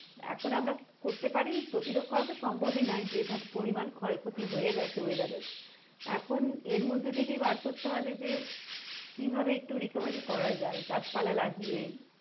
এখন আমরা করতে পারি প্রতিরোধ করা তো সম্ভবই নয় যেভাবে পরিমান ক্ষয় ক্ষতি হয়ে গেছে weather এর এখন এর মধ্যে থেকেই বার করতে হবে যে কীভাবে একটু recovery করা যায় গাছ পালা লাগিয়ে,